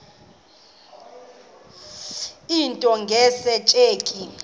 into nge tsheki